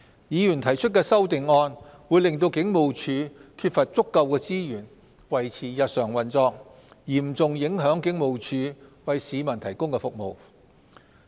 議員提出的修訂議案會令警務處缺乏足夠資源維持日常運作，嚴重影響警務處為市民提供的服務。